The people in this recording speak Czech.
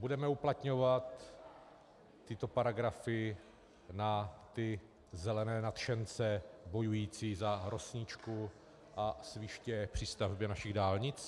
Budeme uplatňovat tyto paragrafy na ty zelené nadšence bojující za rosničku a sviště při stavbě našich dálnic?